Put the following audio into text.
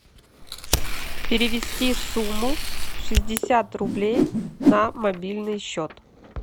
перевести сумму шестьдесят рублей на мобильный счет